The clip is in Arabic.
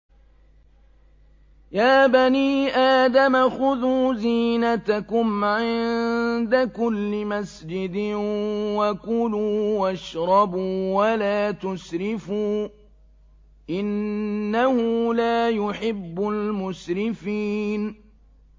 ۞ يَا بَنِي آدَمَ خُذُوا زِينَتَكُمْ عِندَ كُلِّ مَسْجِدٍ وَكُلُوا وَاشْرَبُوا وَلَا تُسْرِفُوا ۚ إِنَّهُ لَا يُحِبُّ الْمُسْرِفِينَ